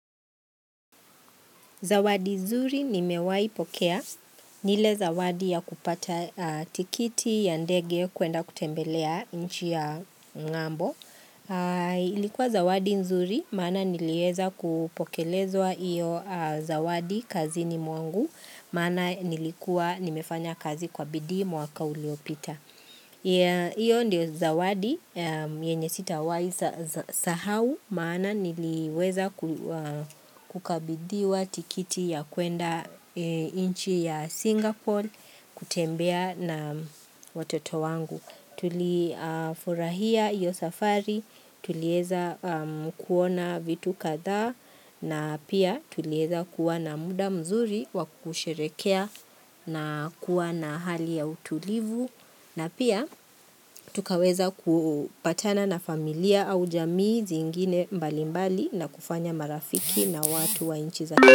Zawadi nzuri nimewaipokea. Ni ile zawadi ya kupata tikiti ya ndege kuenda kutembelea nchi ya ngambo. Ilikuwa zawadi nzuri, maana nilieza kupokelezwa iyo zawadi kazini mwangu, maana nilikuwa nimefanya kazi kwa bidii mwaka uliopita pia Iyo ndio zawadi, yenye sitawahi sahau, maana niliweza kukabidhiwa tikiti ya kuenda nchi ya Singapore kutembea na watoto wangu. Tulifurahia iyo safari, tulieza kuona vitu kadhaa na pia tulieza kuwa na muda mzuri wa kusherehekea na kuwa na hali ya utulivu na pia tukaweza kupatana na familia au jamii zingine mbalimbali na kufanya marafiki na watu wa nchi za.